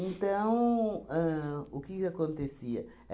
Então, ahn o que que acontecia?